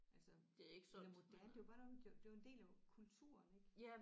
Altså eller moderne det var bare noget man det var en del af kulturen ik